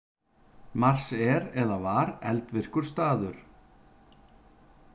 Mars er eða var eldvirkur staður.